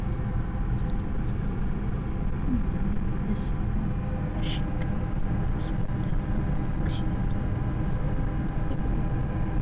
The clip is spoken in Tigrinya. አትክልትን ፍራምረን በሲሎም ዓሽግካ ናብ ዕዳጋ ክሽየጡን ክልወጡን እንትኽእሉ እዮም።